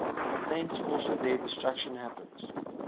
thence also their destruction happens